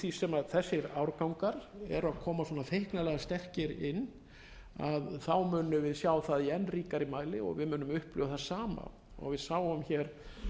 því sem þessir árgangar eru að koma vona feiknarlega sterkir inn við munum sjá það í enn ríkari mæli og við munum upplifa það sama og við sáum hér